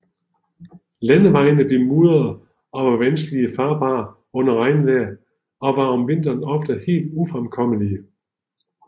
Landevejene blev mudrede og var vanskelig farbare under regnvejr og var om vinteren ofte helt ufremkommelige